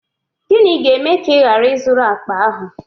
Gịnị ga-eme ka ị ghara ị zụrụ akpa ahụ?